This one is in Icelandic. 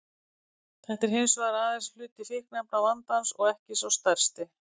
Þetta er hins vegar aðeins hluti fíkniefnavandans og ekki sá stærsti.